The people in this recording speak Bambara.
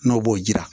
N'o b'o jira